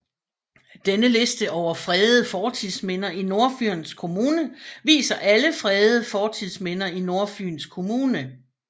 Denne liste over fredede fortidsminder i Nordfyns Kommune viser alle fredede fortidsminder i Nordfyns Kommune